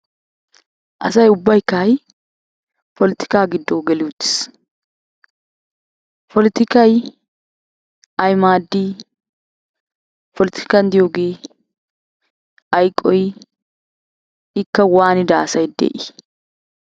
Asay ubbaykka ha'i polotikaa giddo geli uttis. Polotikayi ayi maaddii polotikan diyogee ayi qohii ikka waanida asayi de'ii ?